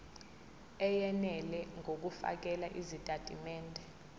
eyenele ngokufakela izitatimende